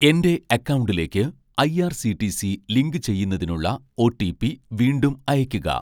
എൻ്റെ അക്കൗണ്ടിലേക്ക് ഐ.ആർ.സി.ടി.സി ലിങ്കുചെയ്യുന്നതിനുള്ള ഒ.റ്റി.പി വീണ്ടും അയയ്ക്കുക